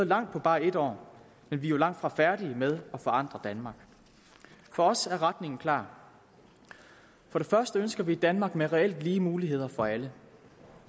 langt på bare et år men vi er langtfra færdige med at forandre danmark for os er retningen klar for det første ønsker vi et danmark med reelt lige muligheder for alle